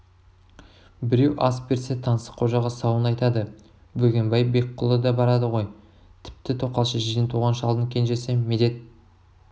біреу ас берсе таңсыққожаға сауын айтады бөгенбай бекқұлы да барады ғой тіпті тоқал шешеден туған шалдың кенжесі медет